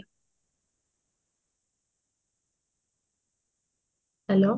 hello